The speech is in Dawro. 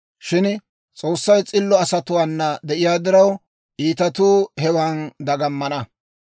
Shin S'oossay s'illo asatuwaana de'iyaa diraw, iitatuu hewan dagamana.